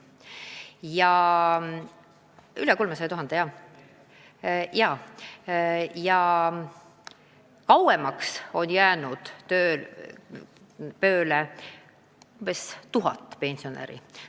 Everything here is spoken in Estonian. Kauemaks on pensioni välja võtmata jäänud tööle umbes 1000 pensionäri.